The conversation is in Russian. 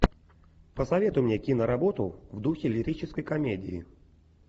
посоветуй мне киноработу в духе лирической комедии